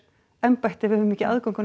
embætti ef við höfum ekki aðgang að